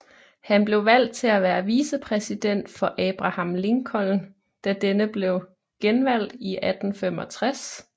Han blev valgt til at være vicepræsident for Abraham Lincoln da denne blev genvalgt i 1865